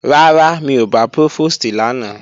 Rárá, mi ò bá Prófòstì lánàá